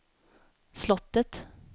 slottet